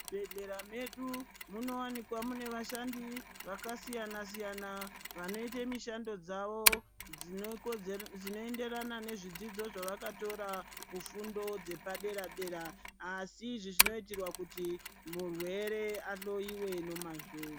Muzvibhedhleya medu munowanikwa mune vashandi vakasiyana siyana vanoita mishando dzavo dzinoenderana nezvidzidzo zvawakatora kufundo dzepa dera dera asi izvi zvinoitirwa kuti murwere ahloyiwe nemazvo .